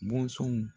Bɔnsɔnw